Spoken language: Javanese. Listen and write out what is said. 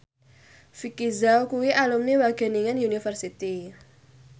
Vicki Zao kuwi alumni Wageningen University